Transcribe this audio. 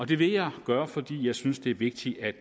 det vil jeg gøre fordi jeg synes det er vigtigt at